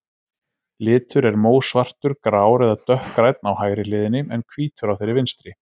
Litur er mósvartur, grár eða dökkgrænn á hægri hliðinni, en hvítur á þeirri vinstri.